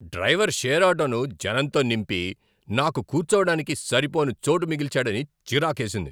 Driver share ఆటోను జనంతో నింపి, నాకు కూర్చోవడానికి సరిపోని చోటు మిగిల్చాడని చిరాకేసింది.